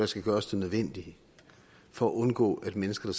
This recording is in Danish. skal gøres det nødvendige for at undgå at mennesker